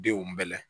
Denw bɛɛ la